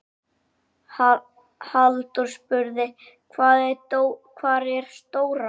Halldór spurði: Hvar er Dóra?